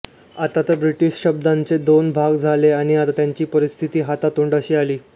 आता तर ब्रिटिश शिबंदीचे दोन भाग झाले आणि त्यांची परिस्थिती हातातोंडाशी आली